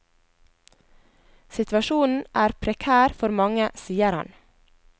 Situasjonen er prekær for mange, sier han.